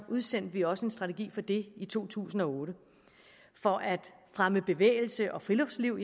udsendte vi også en strategi for det i to tusind og otte for at fremme bevægelse og friluftsliv